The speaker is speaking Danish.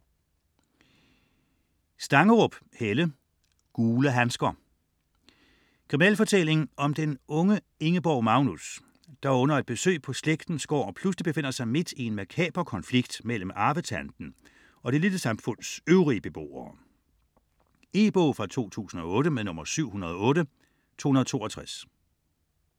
Stangerup, Helle: Gule handsker Krimi om den unge Ingeborg Magnus, der under et besøg på slægtens gård, pludselig befinder sig midt i en makaber konflikt mellem arvetanten og det lille samfunds øvrige beboere. E-bog 708262 2008.